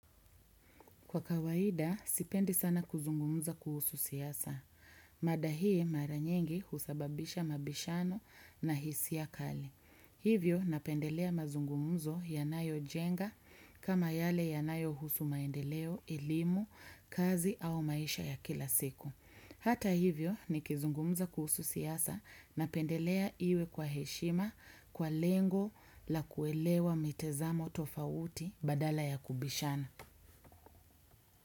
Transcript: Kwa kawaida, sipendi sana kuzungumza kuhusu siasa. Mada hii mara nyengi husababisha mabishano na hisia kali. Hivyo napendelea mazungumzo yanayojenga kama yale yanayohusu maendeleo elimu, kazi au maisha ya kila siku. Hata hivyo nikizungumza kuhusu siasa napendelea iwe kwa heshima kwa lengo la kuelewa mitezamo tofauti badala ya kubishana.